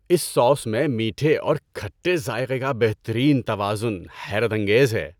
اس sauce میں میٹھے اور کھٹے ذائقے کا بہترین توازن حیرت انگیز ہے۔